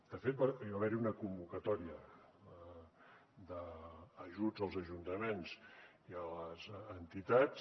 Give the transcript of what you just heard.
de fet va haver hi una convocatòria d’ajuts als ajuntaments i a les entitats